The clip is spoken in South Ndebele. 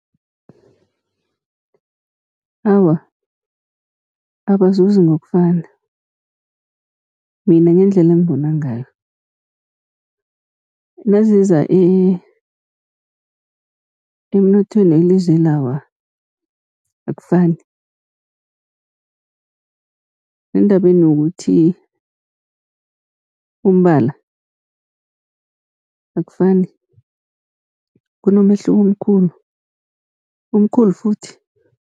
Awa, abazuzi ngokufana mina ngendlela engibona ngayo. Naziza emnothweni welizweli awa akufani, nendabeni yokuthi umbala akufani kunomehluko omkhulu, omkhulu futhi.